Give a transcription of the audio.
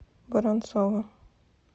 воронцова